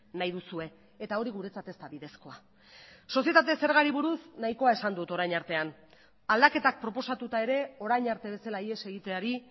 nahi duzue eta hori guretzat ez da bidezkoa sozietate zergarik buruz nahikoa esan dut orain artean aldaketak proposatuta ere orain arte bezala ihes egiteari